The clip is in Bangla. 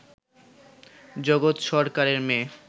জগৎ সরকারের মেয়ে